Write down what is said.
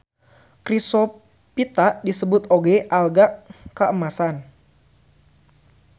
Chrysophyta disebut oge alga kaemasan.